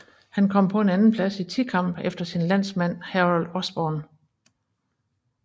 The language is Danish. Han kom på en andenplads i tikamp efter sin landsmand Harold Osborn